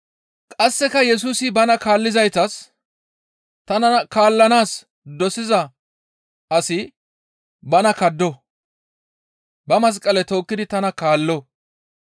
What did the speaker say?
Qasseka Yesusi bana kaallizaytas, «Tana kaallanaas dosiza asi bana kaddo; ba masqale tookkidi tana kaallo.